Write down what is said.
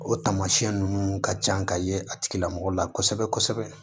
O taamasiyɛn ninnu ka can ka ye a tigilamɔgɔ la kosɛbɛ kosɛbɛ